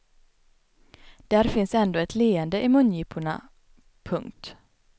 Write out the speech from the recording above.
Där fanns ändå ett leende i mungiporna. punkt